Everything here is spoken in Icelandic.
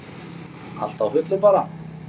Allt á fullu bara.